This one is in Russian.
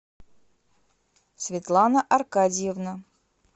светлана аркадьевна